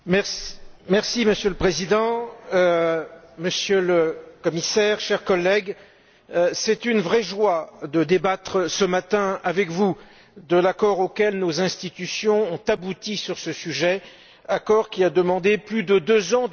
Monsieur le Président, Monsieur le Commissaire, chers collègues, c'est une vraie joie de débattre ce matin avec vous de l'accord auquel nos institutions ont abouti sur ce sujet, accord qui a demandé plus de deux ans de négociations.